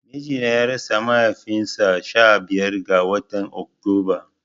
Mijina ya rasa mahaifin sa sha biyar ga watan Oktunba